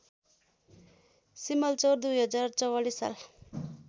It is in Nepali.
सिमलचौर २०४४ साल